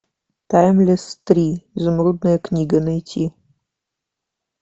таймлесс три изумрудная книга найти